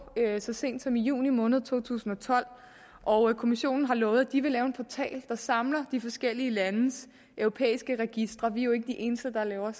så sent som i juni måned to tusind og tolv og kommissionen har lovet at de vil lave en portal der samler de forskellige landes europæiske registre vi er jo ikke de eneste der laver